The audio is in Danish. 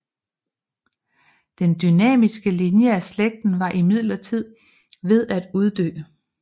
Den dynastiske linje af slægten var imidlertid ved at uddø